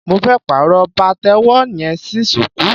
Mo fẹ́ pàrọ̀ pàtẹ́wọ́ yẹn sí shuku.